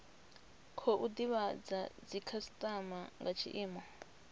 khou divhadza dzikhasitama nga tshiimo